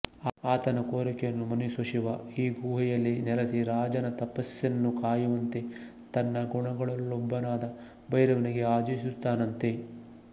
ಆತನ ಕೋರಿಕೆಯನ್ನು ಮನ್ನಿಸೋ ಶಿವ ಈ ಗುಹೆಯಲ್ಲಿ ನೆಲಸಿ ರಾಜನ ತಪಸ್ಸಿನ್ನು ಕಾಯುವಂತೆ ತನ್ನ ಗಣಗಳಲ್ಲೊಬ್ಬನಾದ ಭೈರವನಿಗೆ ಆದೇಶಿಸುತ್ತಾನಂತೆ